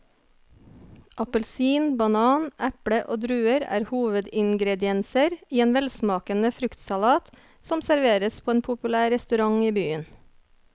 Appelsin, banan, eple og druer er hovedingredienser i en velsmakende fruktsalat som serveres på en populær restaurant i byen.